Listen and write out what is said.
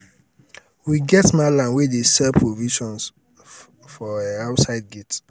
we get mallam wey dey sell provisions for um outside gate.